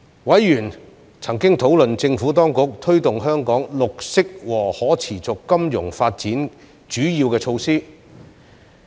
委員曾討論政府當局推動香港綠色和可持續金融發展的主要措施。